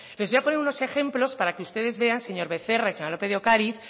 les voy a poner unos ejemplos para que ustedes vean señor becerra y señora lópez de ocariz